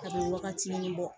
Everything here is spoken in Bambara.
Kabini wagati nin bɔ